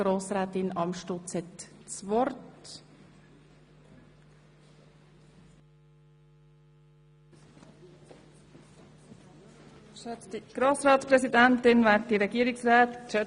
Wir kommen somit zum dritten Ordnungsantrag, bei dem es um die Traktanden 37 und 38 geht.